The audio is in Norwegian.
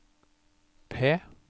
P